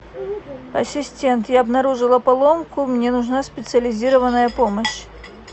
ассистент я обнаружила поломку мне нужна специализированная помощь